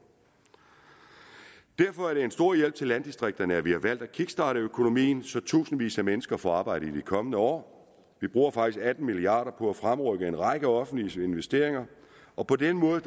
derfor er det en stor hjælp til landdistrikterne at vi har valgt at kickstarte økonomien så tusindvis af mennesker får arbejde i de kommende år vi bruger faktisk atten milliard kroner på at fremrykke en række offentlige investeringer og på den måde